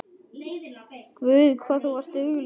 Guð hvað þú varst dugleg.